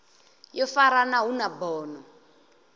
yo farana hu na bono